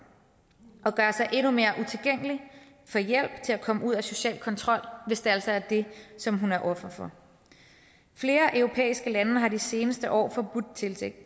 og gøre sig endnu mere utilgængelig i til hjælp til at komme ud af social kontrol hvis det altså er det som hun er offer for flere europæiske lande har i de seneste år forbudt